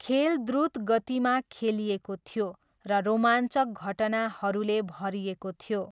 खेल द्रुत गतिमा खेलिएको थियो र रोमाञ्चक घटनाहरूले भरिएको थियो।